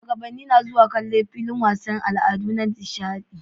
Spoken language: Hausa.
Shugabanni na zuwa kallon a filin wasannin al'adu Dan dishadi